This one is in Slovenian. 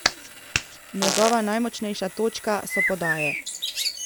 Njegova najmočnejša točka so podaje.